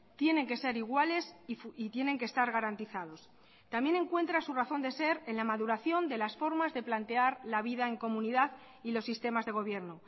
tienen que ser iguales y tienen que estar garantizados también encuentra su razón de ser en la maduración de las formas de plantear la vida en comunidad y los sistemas de gobierno